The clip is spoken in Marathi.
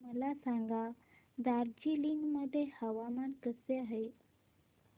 मला सांगा दार्जिलिंग मध्ये हवामान कसे आहे